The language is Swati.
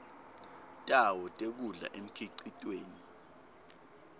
tawo tekudla emkhicitweni